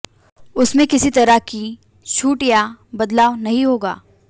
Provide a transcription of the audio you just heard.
उसमें किसी तरह की छूट या बदलाव नहीं होगा